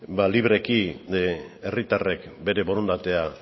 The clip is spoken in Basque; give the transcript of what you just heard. libreki herritarrek bere borondatea